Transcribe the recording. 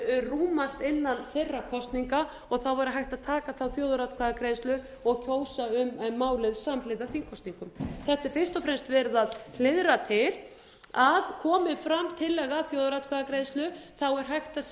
rúmast innan þeirra kosninga væri hægt að taka þjóðaratkvæðagreiðslu og kjósa um málið samhliða þingkosningum þetta er fyrst og fremst verið að hliðra til að komi fram tillaga að þjóðaratkvæðagreiðslu er hægt að